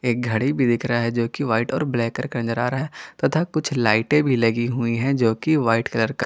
एक घड़ी भी दिख रहा है जो कि व्हाइट और ब्लैक कलर का नजर आ रहा है तथा कुछ लाइटें भी लगी हुई हैं जो कि व्हाइट कलर का--